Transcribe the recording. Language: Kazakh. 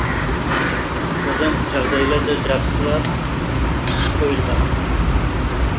одан жағдайлар да жақсылап қойылған